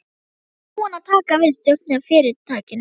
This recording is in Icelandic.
Ertu bara búin að taka við stjórninni í fyrirtækinu?